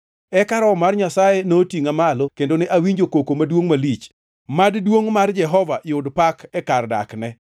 Eka Roho mar Nyasaye notingʼa malo, kendo ne awinjo koko maduongʼ malich. Mad duongʼ mar Jehova Nyasaye yud pak e kar dakne!